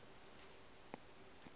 be a ka se mo